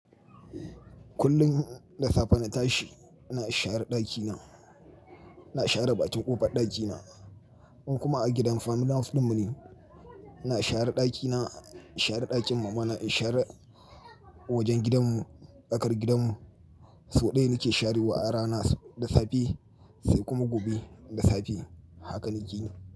Kullin da safe na tashi, ina share ɗakina, ina share ɓaƙin ƙofar ɗakina. In kuma a gidan family house dinmu ne ina share dakina in share dakin mamana in share wajen gidan mu tsakar gidanmu. So ɗaya nake sharewa a rana, da safe sai kuma gobe da safe. Haka nake yi.